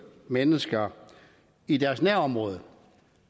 mennesker i deres nærområde